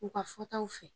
U ka fɔtaw fɛ